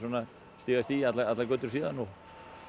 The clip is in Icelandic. stig af stigi allar götur síðan og